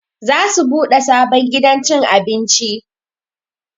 Za su buɗe sabon gidan cin abinci